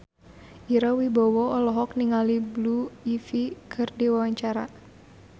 Ira Wibowo olohok ningali Blue Ivy keur diwawancara